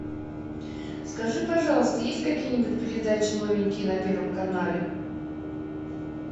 скажи пожалуйста есть какие нибудь передачи новенькие на первом канале